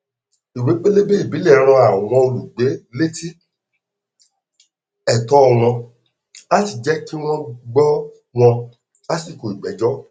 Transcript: ìwé pélébé ìbílẹ rán àwọn olùgbé létí ẹtọ wọn láti jẹ kí wọn gbọ wọn lásìkò ìgbẹjọ